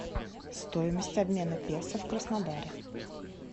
стоимость обмена песо в краснодаре